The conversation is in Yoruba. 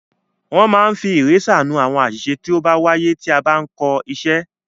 Wọ́n máa ń fi ìrésà nú àwọn àṣìṣe tó bá wáyé tí a bá ń kọ iṣẹ́.